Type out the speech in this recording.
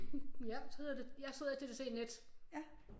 Ja så hedder det så hedder det TDC net